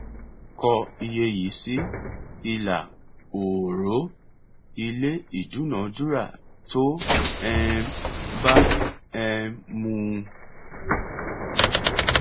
kọ iye yìí sí ilà òòró ilé ìdúnadúrà tó um bá um mu